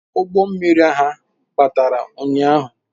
Ụgbọ mmiri ha gbara ụnyahụ